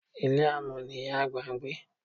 Ilé amọ̀n ni ìyá àgbà ń gbé.